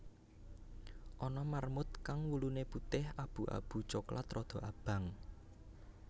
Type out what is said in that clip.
Ana marmut kang wuluné putih abu abu coklat rada abang